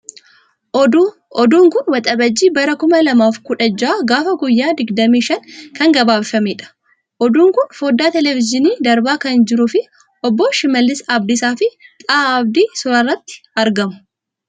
Oduu, oduun kun oduu waxajii bara kuma lamaaf kudha jaha gaafa guyyaan digdamii shanii kan gabaafamedha. Oduun kun foodaa televizyiiniin darbaa kan jiruufi Obbo Shimallis Abdiisaafi Xahaa Abdii suurarratti argamu.